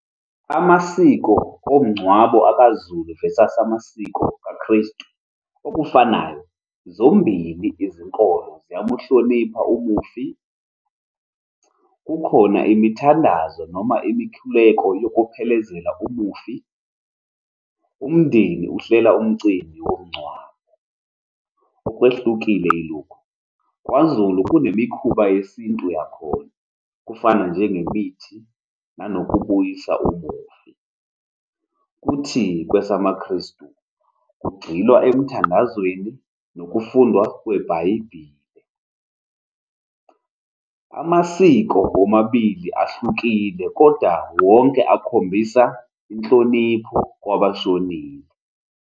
Amasiko omngcwabo akaZulu versus amasiko amaKristu, okufanayo, zombili izinkolo ziyamuhlonipha umufi. Kukhona imithandazo noma imikhuleko yokuphelezela umufi. Umndeni uhlela umcimbi womngcwabo. Okwehlukile ilokhu, kwaZulu kunemikhuba yesintu yakhona, okufana njengemithi nanokubuyisa umufi. Kuthi kwesamaKristu, kugxilwe emthandazweni nokufundwa kwebhayibheli. Amasiko womabili ahlukile koda wonke akhombisa inhlonipho kwabashonile.